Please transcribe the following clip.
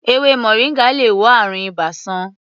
Èwe moringa lè wo àrùn ibà sàn.